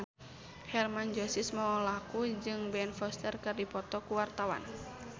Hermann Josis Mokalu jeung Ben Foster keur dipoto ku wartawan